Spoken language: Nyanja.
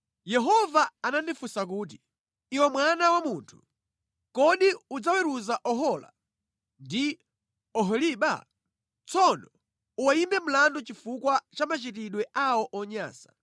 Yehova anandifunsa kuti, “Iwe mwana wa munthu, kodi udzaweruza Ohola ndi Oholiba? Tsono uwayimbe mlandu chifukwa cha machitidwe awo onyansa.